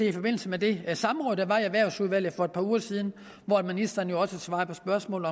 i forbindelse med det samråd der var i erhvervsudvalget for et par uger siden hvor ministeren jo også svarede på spørgsmål